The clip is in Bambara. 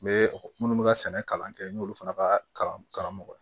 N bɛ minnu bɛ ka sɛnɛ kalan kɛ n y'olu fana ka kalan karamɔgɔ